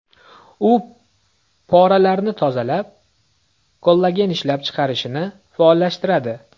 U poralarni tozalab, kollagen ishlab chiqarilishini faollashtiradi.